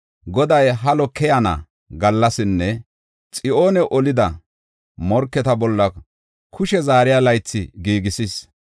Goday halo keyana gallasinne Xiyoone olida morketa bolla kushe zaariya laythi giigisis.